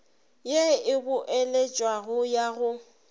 ye e boeletšwago ya go